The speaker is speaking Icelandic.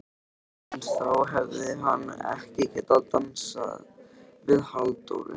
En þá hefði hann ekki getað dansað við Halldóru